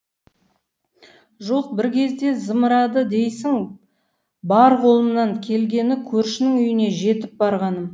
жоқ бір кезде зымырады дейсің бар қолымнан келгені көршінің үйіне жетіп барғаным